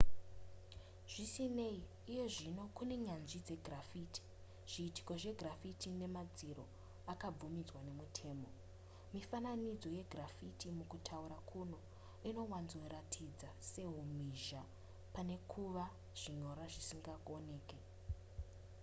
zvisinei iyezvino kune nyanzvi dzegraffiti zviitiko zvegraffiti nemadziro akabvumidzwa nemutemo mifananidzo yegraffiti mukutaura kuno inowanzoratidza sehumhizha pane kuva zvinyorwa zvisingaoneke